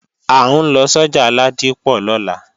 À ń lọ sọ́jà Ládípọ̀ lọ́la